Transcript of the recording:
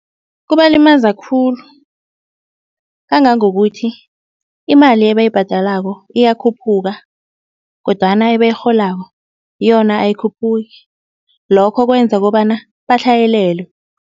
Kubalimaza khulu, kangangokuthi imali ebayibhadalako iyakhuphuka kodwana ebayirholako yona ayikhuphuki. Lokho kwenza kobana batlhayelelwe.